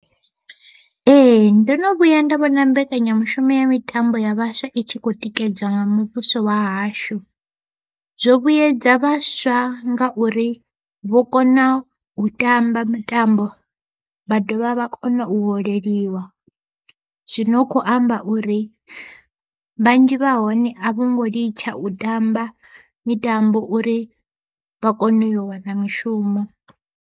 Ee ndono vhuya nda vhona mbekanyamushumo ya mitambo ya vhaswa itshi kho tikedzwa nga muvhuso wa hashu. Zwo vhuyedza vhaswa ngauri vho kona u tamba mitambo vha dovha vha kona u holeliwa, zwono kho amba uri vhanzhi vha hone a vhango litsha u tamba mitambo uri vha kone u wana mishumo.